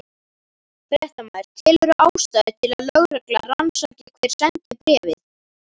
Fréttamaður: Telurðu ástæðu til að lögregla rannsaki hver sendi bréfið?